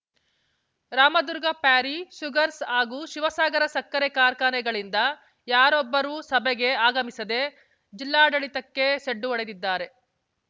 Ramdurg Parry sugars ಹಾಗೂ ಶಿವಸಾಗರ ಸಕ್ಕರೆ ಕಾರ್ಖಾನೆಗಳಿಂದ ಯಾರೊಬ್ಬರು ಸಭೆಗೆ ಆಗಮಿಸದೆ ಜಿಲ್ಲಾಡಳಿತಕ್ಕೆ ಸೆಡ್ಡು ಹೊಡೆದಿದ್ದಾರೆ